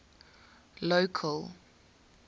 local